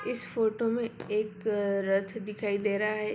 इस फोटो में एक रथ दिखाई दे रहा है।